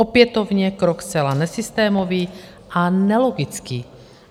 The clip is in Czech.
Opětovně krok zcela nesystémový a nelogický.